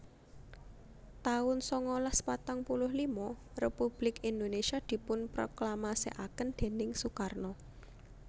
taun sangalas patang puluh lima Republik Indonesia dipunproklamasèkaken déning Soekarno